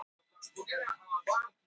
Fær bætur fyrir falsað viðtal